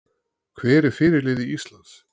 Hver er fyrirliði Íslands?